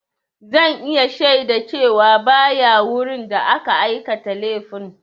Zan iya shaida cewa ba ya wurin da aka aikata laifin.